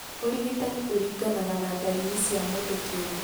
Ũrigitani ũringanaga na ndariri cia mũndũ kĩũmbe.